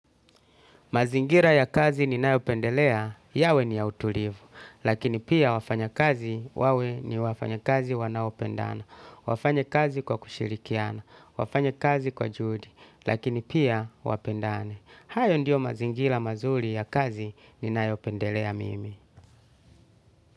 Mazingira ya kazi ni nayopendelea, yawe ni ya utulivu, lakini pia wafanya kazi wawe ni wafanya kazi wanaopendana, wafanye kazi kwa kushirikiana, wafanye kazi kwa judi, lakini pia wapendane. Hayo ndio mazingira mazuri ya kazi ni nayopendelea mimi.